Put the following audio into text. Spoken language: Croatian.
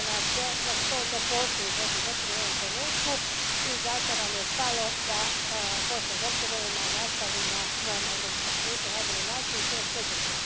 To je ono što ne postoji u Bosni i Hercegovini u ovo trenutku i zato nam je stalo da Bosna i Hercegovina nastavi na svom europskom putu, na najbolji način i to što brže.